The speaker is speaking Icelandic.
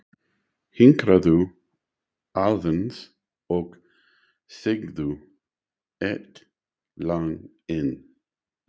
Hinkraðu aðeins og syngdu eitt lag enn.